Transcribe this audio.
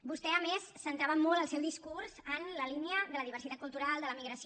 vostè a més centrava molt el seu discurs en la línia de la diversitat cultural de la migració